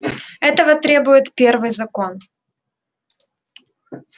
этого требует первый закон